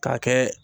K'a kɛ